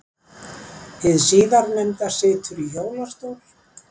Hið síðarnefnda situr í hjólastól.